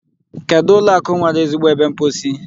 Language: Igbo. Kedụ ụlọ akụ nwere ezigbo ebe mposi?